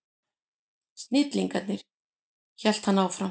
Snillingarnir, hélt hann áfram.